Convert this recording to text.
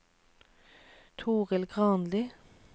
Torild Granli